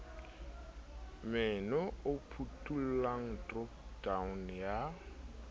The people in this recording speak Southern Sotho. menu e phuthollang dropdown ya